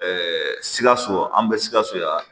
sikaso an bɛ sikaso yan